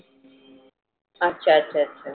अच्छा अच्छा अच्छा.